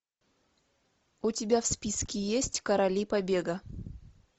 у тебя в списке есть короли побега